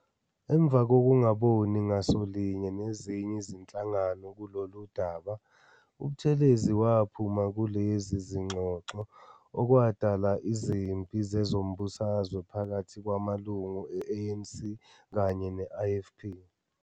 Emva kokungaboni ngaso linye nezinye izinhlangano kulolu daba, uButhelezi waphuma kulezi zingxoxo, okwadala izimpi zezombusazwe phakathi kwamalungu e-ANC kanye ne-IFP.